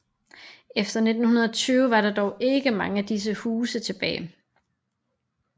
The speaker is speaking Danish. Efter 1920 var der dog ikke mange af disse huse tilbage